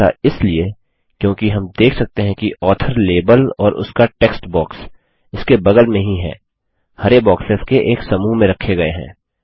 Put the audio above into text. ऐसा इसलिए क्योंकि हम देख सकते है कि ऑथर लेबल और उसका टेक्स्टबॉक्स इसके बगल में ही है हरे बॉक्सेस के एक समूह में रखे गये हैं